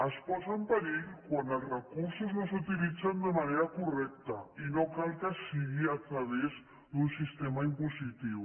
es posa en perill quan els recursos no s’utilitzen de manera correcta i no cal que sigui a través d’un sistema impositiu